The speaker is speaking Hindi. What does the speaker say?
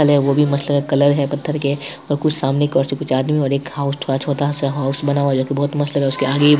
कल है वो भी मस्त लग रहा है | कलर है पत्थर के और कुछ सामने की और से कुछ आदमी और एक हाउस जो छोटा सा हाउस बना हुआ है जो की बहुत मस्त लग रहा है उसके आगे --।